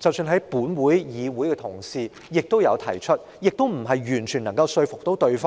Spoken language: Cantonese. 同事在本會提出，亦未能完全說服另一方。